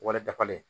Wari dafalen